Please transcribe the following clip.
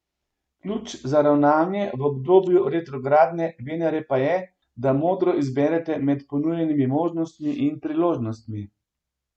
Ključ za ravnanje v obdobju retrogradne Venere pa je, da modro izberete med ponujenimi možnostmi in priložnostmi.